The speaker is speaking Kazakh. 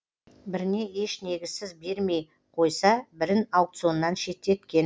біріне еш негізсіз бермей қойса бірін аукционнан шеттеткен